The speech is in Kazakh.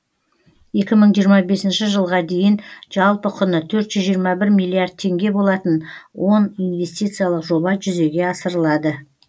екі мың жиырма бесінші жылға дейін жалпы құны төрт жүз жиырма бір миллиард теңге болатын он инвестициялық жоба жүзеге асырылады